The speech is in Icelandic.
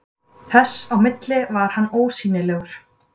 Þess á milli var hann ósýnilegur.